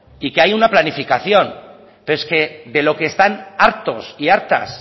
y que hay una planificación pero es que de lo que están hartos y hartas